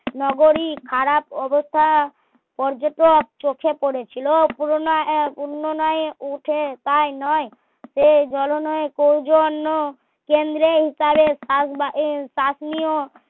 নগরী খারাপ অবক্ষয়া পর্যটক চোখে পড়েছিল পুরোনো এক উন্ননয়ে উঠে তাই নয় সে ধরণের সৌজন্য কেন্দ্রীয়কারে শাসনীয়